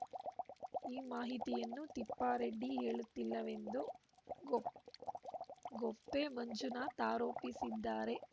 ಈ ಮಾಹಿತಿಯನ್ನು ತಿಪ್ಪಾರೆಡ್ಡಿ ಹೇಳುತ್ತಿಲ್ಲವೆಂದು ಗೊ ಗೊಪ್ಪೆ ಮಂಜುನಾಥ್‌ ಆರೋಪಿಸಿದ್ದಾರೆ